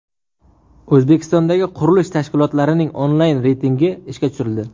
O‘zbekistondagi qurilish tashkilotlarining onlayn reytingi ishga tushirildi.